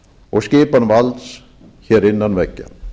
og skipan valds hér innan veggja